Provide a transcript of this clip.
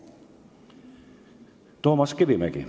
Toomas Kivimägi.